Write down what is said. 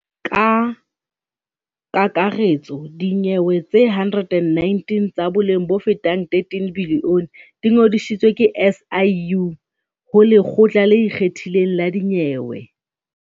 Ka kakaretso dinyewe tse 119 tsa boleng bofetang R13 bilione di ngodisitswe ke SIU ho Lekgotla le Ikgethileng la Dinyewe.